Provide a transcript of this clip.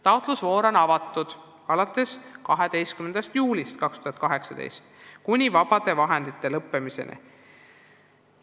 Taotlusvoor on avatud alates 12. juulist 2018 kuni vaba raha lõppemiseni.